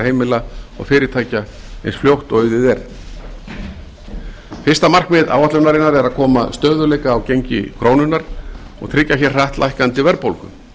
heimila og fyrirtækja eins fljótt og auðið er fyrsta markmið áætlunarinnar er að koma stöðugleika á gengi krónunnar og tryggja hratt lækkandi verðbólgu